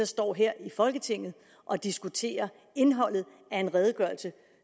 står her i folketinget og diskuterer indholdet af en redegørelse